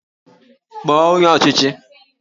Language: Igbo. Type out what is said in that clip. Kpọọ onye ọchịchị!